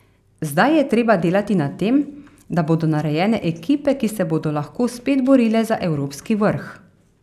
Zdaj je treba delati na tem, da bodo narejene ekipe, ki se bodo lahko spet borile za evropski vrh.